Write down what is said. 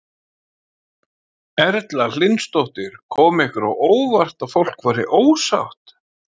Erla Hlynsdóttir: Kom ykkur á óvart að fólk væri ósátt?